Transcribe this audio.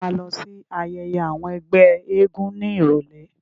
Ta ló ma lọ sí ayẹyẹ àwọn ẹgbẹ́ eégún ní ìrọ̀lẹ́?